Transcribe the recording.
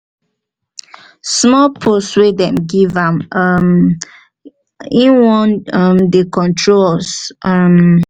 small post wey dey give am um he wan um dey control us um